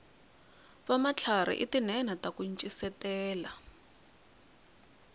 vamatlharhi i tinhenha taku ncisetela